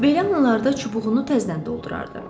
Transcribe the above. Belə anlarda çubuğunu təzədən doldurardı.